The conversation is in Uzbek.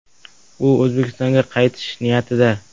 U O‘zbekistonga qaytish niyatida.